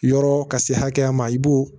Yɔrɔ ka se hakɛya ma i b'o